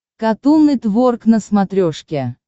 катун нетворк на смотрешке